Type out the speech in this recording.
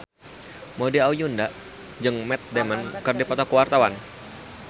Maudy Ayunda jeung Matt Damon keur dipoto ku wartawan